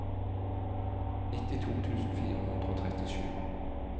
nittito tusen fire hundre og trettisju